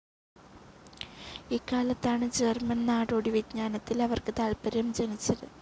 ഇക്കാലത്താണ് German നാടോടി വിജ്ഞാനത്തിൽ അവർക്ക് താത്പര്യം ജനിച്ചത്.